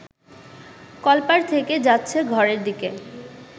কলপাড় থেকে যাচ্ছে ঘরের দিকে